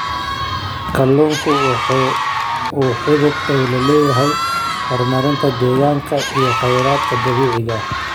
Kalluunku waxa uu xidhiidh dhow la leeyahay horumarinta deegaanka iyo khayraadka dabiiciga ah.